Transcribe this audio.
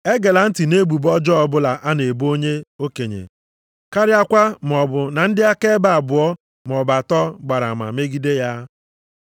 Egela ntị nʼebubo ọjọọ ọbụla a na-ebo onye okenye karịakwa maọbụ na ndị akaebe abụọ maọbụ atọ gbara ama megide ya.